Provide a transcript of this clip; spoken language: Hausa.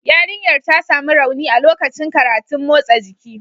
Yarinyar ta sami rauni a lokacin karatun motsa jiki